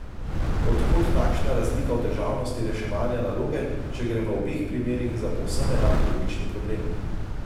Od kod takšna razlika v težavnosti reševanja naloge, če gre v obeh primerih za povsem enak logični problem?